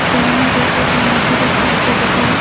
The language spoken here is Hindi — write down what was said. सामने देखिएगा यहां पर एक साइकल दिखा है।